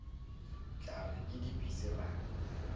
tla re ke dipitsi ra